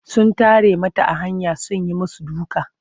Sun tare mata a hanya sun yi musu duka.